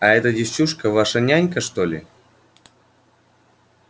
а эта девчушка ваша нянька что ли